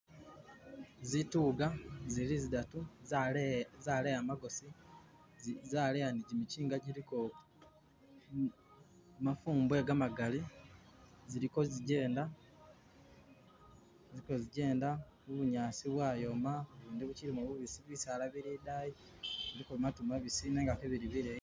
Zituga zili zidatu zaleya magosi zaleya ne jimichinga jiliko mafumbo gamagali zili kozijenda bunyaasi bwayoma ubundi bukilimo bu bisibisi bisaala bili adani biliko maatu mabisi nenga ke bili bileyi.